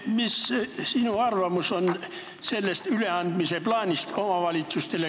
Mis on sinu arvamus selle omavalitsustele üleandmise plaani kohta?